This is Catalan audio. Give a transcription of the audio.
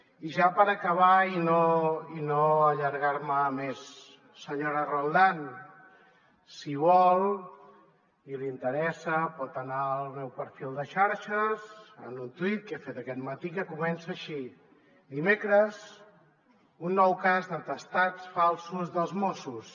i ja per acabar i no allargar me més senyora roldán si vol i li interessa pot anar al meu perfil de xarxes a un tuit que he fet aquest matí que comença així dimecres un nou cas d’atestats falsos dels mossos